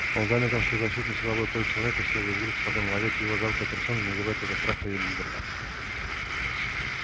он заметил что защитное силовое поле человека исчезло и с грустью подумал а ведь его жалкая персона не вызывает уже страха у недругов